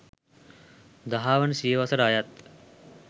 දහවන සියවසට අයත්